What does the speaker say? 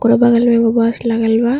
ओकरो बगल में एगो बस लागल बा --